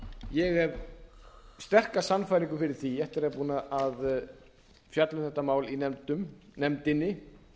ég hef sterka sannfæringu fyrir því eftir að vera búinn að fjalla um þetta mál í nefndinni